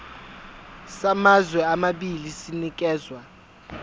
samazwe amabili sinikezwa